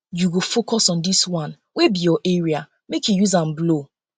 you go focus on dis one wey be your area make you use am blow